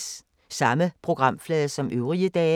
Samme programflade som øvrige dage